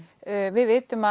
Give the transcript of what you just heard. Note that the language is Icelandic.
við vitum að